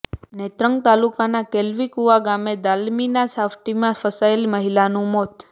નેત્રંગ તાલુકાના કેલ્વીકુવા ગામે દાળમીલમાં સાફટીનમાં ફસાયેલી મહિલાનું મોત